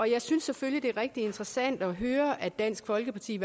jeg synes selvfølgelig det er rigtig interessant at høre at dansk folkeparti